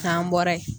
K'an bɔra ye